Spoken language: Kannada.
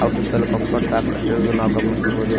ಅವ್ ಸುತ್ತಲು ಕಾಂಪೌಂಡ್ ಸಹ ಕಟ್ಟಿರುವುದು ನಾವ್ ಗಮನಿಸಬಹುದು.